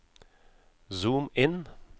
zoom inn